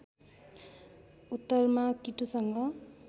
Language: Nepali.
उत्तरमा किटुसँग